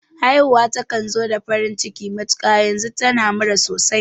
Haifuwa takan zo da farin ciki matuƙa, yanzu tana murna sosai